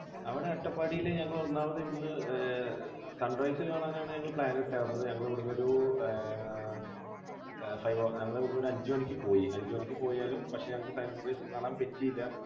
അവിടെ അട്ടപ്പാടിയിൽ ഞങ്ങൾ ഒന്നാമത് ഇവിടെനിന്ന് sunrise കാണാനാണ് ഞങ്ങൾ plan ഇട്ടിരുന്നത്. ഞങ്ങൾ ഇവിടുന്നൊരു ആഹ് five o clock ന് ഒരു അഞ്ചുമണിക്ക് പോയി. അഞ്ചുമണിക്ക് പോയാൽ പക്ഷെ ഞങ്ങൾക്ക് sunrise കാണാൻ പറ്റിയില്ല.